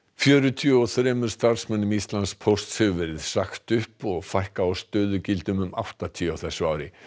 fjörutíu og þremur starfsmönnum Íslandspósts hefur verið sagt upp og fækka á stöðugildum um áttatíu á þessu ári